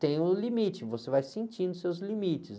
tem o limite, você vai sentindo seus limites.